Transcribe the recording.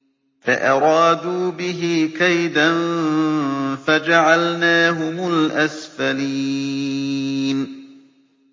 فَأَرَادُوا بِهِ كَيْدًا فَجَعَلْنَاهُمُ الْأَسْفَلِينَ